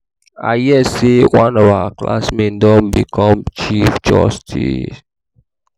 i hear say one of my classmates don become chief justice